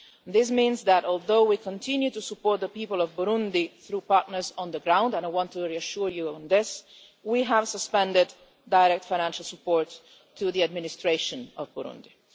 This means that, although we continue to support the people of Burundi through partners on the ground and I want to reassure you on that point we have suspended direct financial support to the administration of Burundi.